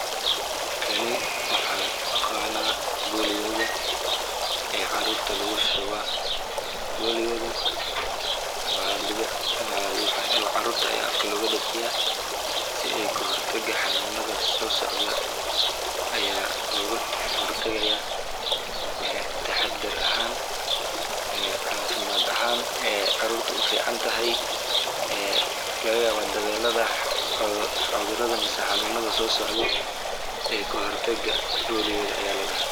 Kani waaxan u aqaana boliyada caruurta lagu shubi caruurta ayaa afka looga shubaa cafimaad ahaan ayeey caruurta ufican tahay kahor taga xanunada soo socdaan.